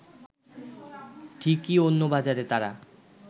ঠিকই অন্য বাজারে তারা